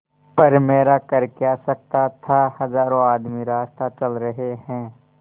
पर मेरा कर क्या सकता था हजारों आदमी रास्ता चल रहे हैं